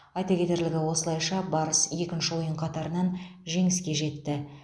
айта кетерлігі осылайша барыс екінші ойын қатарынан жеңіске жетті